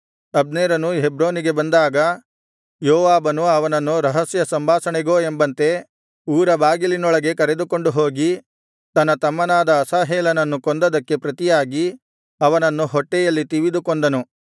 ಅಬ್ನೇರನು ಹೆಬ್ರೋನಿಗೆ ಬಂದಾಗ ಯೋವಾಬನು ಅವನನ್ನು ರಹಸ್ಯ ಸಂಭಾಷಣೆಗೋ ಎಂಬಂತೆ ಊರಬಾಗಿಲಿನೊಳಗೆ ಕರೆದುಕೊಂಡು ಹೋಗಿ ತನ್ನ ತಮ್ಮನಾದ ಅಸಾಹೇಲನನ್ನು ಕೊಂದದ್ದಕ್ಕೆ ಪ್ರತಿಯಾಗಿ ಅವನನ್ನು ಹೊಟ್ಟೆಯಲ್ಲಿ ತಿವಿದು ಕೊಂದನು